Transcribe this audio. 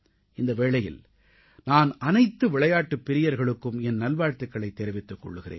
இந்த வேளையில் நான் அனைத்து விளையாட்டுப் பிரியர்களுக்கும் என் நல்வாழ்த்துகளைத் தெரிவித்துக் கொள்கிறேன்